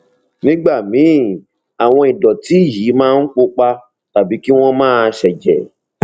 nígbà míì àwọn ìdọtí yìí máa ń pupa tàbí kí wọn máa ṣẹjẹ